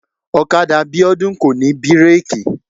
ọ̀kadà Bíọ́dún kò ní bírèkì